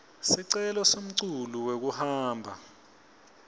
sicelo semculu wekuhamba